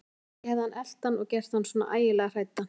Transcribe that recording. Kannski hefði hann elt hann og gert hann svona ægilega hræddan.